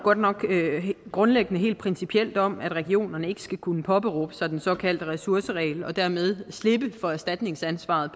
grundlæggende helt principielt om at regionerne ikke skal kunne påberåbe sig den såkaldte ressourceregel for dermed at slippe for erstatningsansvaret